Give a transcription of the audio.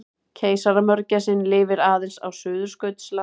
Keisaramörgæsin lifir aðeins á Suðurskautslandinu.